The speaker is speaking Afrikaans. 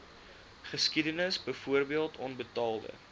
geskiedenis byvoorbeeld onbetaalde